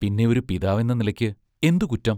പിന്നെ ഒരു പിതാവെന്ന നിലയ്ക്ക് എന്തു കുറ്റം